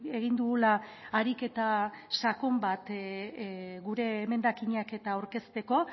egin dugula ariketa sakon bat gure emendakinak eta aurkezteko